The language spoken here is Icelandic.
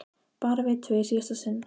Bara við tvö í síðasta sinn.